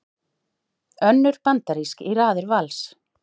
Önnur bandarísk í raðir Vals